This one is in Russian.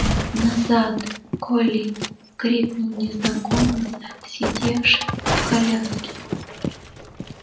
назад колли крикнул незнакомец сидевший в коляске